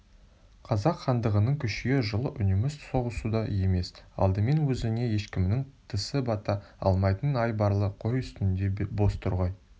қазақ хандығының күшею жолы үнемі соғысуда емес алдымен өзіңе ешкімнің тісі бата алмайтын айбарлы қой үстінде боз торғай